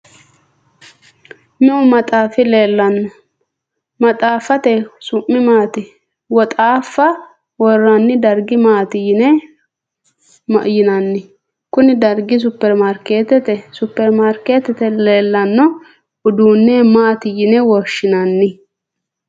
Meu maxaafi leellanno? maxaaffate su'mi maati? Woxaaffa woroonni darga maati yinanni? Kuni dargi superimarkeetete? Supermarkeetete leellanno uduunne maati yine woshshinanni?